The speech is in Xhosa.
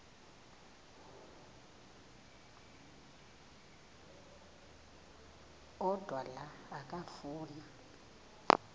odwa la okafuna